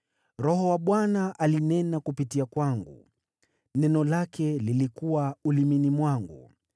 “Roho wa Bwana alinena kupitia kwangu, neno lake lilikuwa ulimini mwangu.